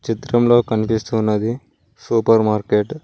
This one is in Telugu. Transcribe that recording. చిత్రంలో కనిపిస్తూ ఉన్నది సూపర్ మార్కెట్ .